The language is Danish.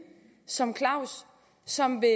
som claus som vil